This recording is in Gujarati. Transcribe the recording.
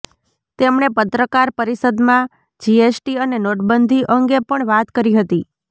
તેમણે પત્રકાર પરિષદમાં જીએસટી અને નોટબંધી અંગે પણ વાત કરી હતી